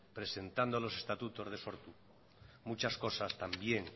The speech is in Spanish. presentando los estatutos de sortu muchas cosas también